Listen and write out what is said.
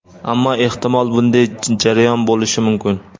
Ammo, ehtimol, bunday jarayon bo‘lishi mumkin.